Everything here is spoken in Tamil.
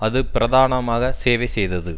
அது பிரதானமாக சேவை செய்தது